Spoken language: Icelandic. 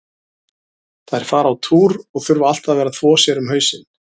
Þær fara á túr og þurfa alltaf að vera að þvo sér um hausinn.